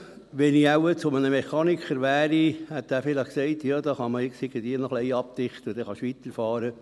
Wenn ich zu einem Mechaniker gegangen wäre, hätte dieser vielleicht gesagt: «Das kann man irgendwie noch ein wenig abdichten, dann kannst du weiterfahren.»